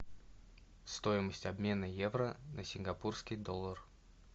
стоимость обмена евро на сингапурский доллар